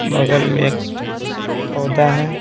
बगल में एक पौधा है।